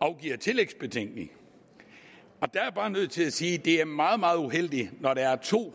afgiver tillægsbetænkning og bare nødt til at sige at det er meget meget uheldigt at når der er to